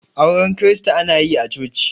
auren kirista ana yi a choci